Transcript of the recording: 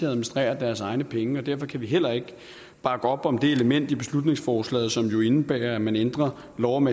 administrere deres egne penge og derfor kan vi heller ikke bakke op om det element i beslutningsforslaget som indebærer at man ændrer lov om